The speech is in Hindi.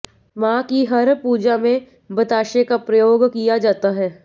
मां की हर पूजा में बताशे का प्रयोग किया जाता है